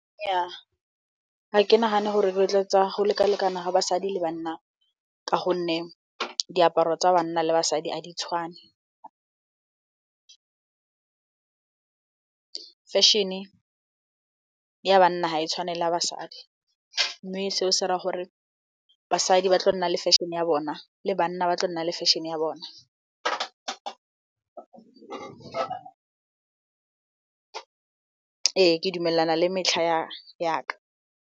Nnyaa, ga ke nagane gore di rotloetsa go lekalekana ga basadi le banna ka gonne diaparo tsa banna le basadi a di tshwane. Fashion ya banna ga e tshwane le basadi mme seo se dira gore basadi ba tla nna le fashion-e ya bona le banna ba tla nna le fashion. Ee, ke dumelana le metlha ya ka.